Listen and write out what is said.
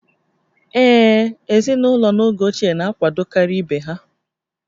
Ee, ezinụlọ n'oge ochie na-akwadokarị ibe ha